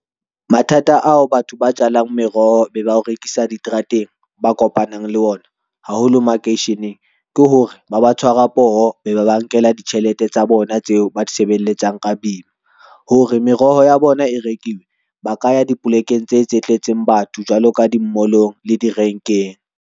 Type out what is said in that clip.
Mathata ao batho ba jalang meroho be ba o rekisa diterateng, ba kopanang le ona, haholo makeisheneng ke hore ba ba tshwara poho, be ba ba nkela ditjhelete tsa bona tseo ba di sebelletsang ka boima. Hore meroho ya bona e rekiwe, ba ka ya dipolekeng tse tse tletseng batho, jwalo ka dimolong le direnkeng.